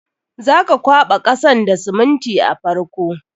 Za ka kwaɓa kasan da siminti a farko.